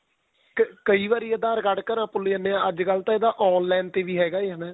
ਤੇ ਕੋਈ ਵਾਰੀ aadhar card ਘਰਾਂ ਭੁੱਲ ਜਾਣੇ ਹਾਂ ਅੱਜ ਕੱਲ ਤਾਂ online ਤੇ ਵੀ ਹੈਗਾ